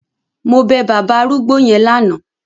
Mo bẹ bàbá arúgbó yẹn lánàá.